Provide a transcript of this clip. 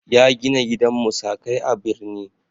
Ya gina gidan musakai a birni.